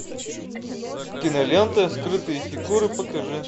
кинолента скрытые фигуры покажи